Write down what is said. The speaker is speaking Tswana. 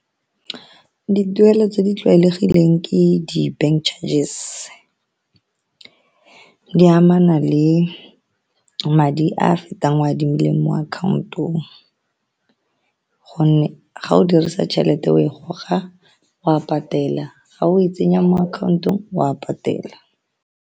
Dituelo tse di tlwaelegileng ke di-bank charges di amana le madi a fetang adimileng mo account-ong gonne ga o dirisa tšhelete o e goga o a patela, ga o e tsenya mo akhaontong o a patela.